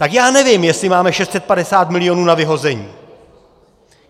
Tak já nevím, jestli máme 650 milionů na vyhození.